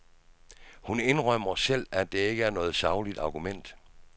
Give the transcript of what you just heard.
Hun indrømmer selv, at det ikke er noget sagligt argument.